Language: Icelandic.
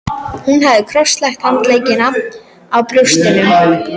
Hún hafði krosslagt handleggina á brjóstinu.